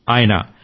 ఆయన జి